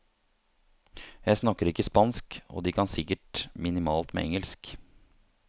Jeg snakker ikke spansk og de kan sikkert minimalt med engelsk.